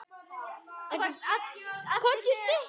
Skipið fer í dag.